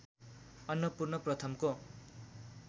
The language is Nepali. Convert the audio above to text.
अन्नपूर्ण प्रथमको